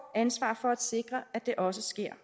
ansvar for at sikre at det også sker